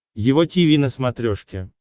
его тиви на смотрешке